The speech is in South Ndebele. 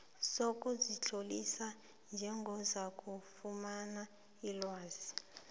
sokuzitlolisa njengozakufumana ilwazi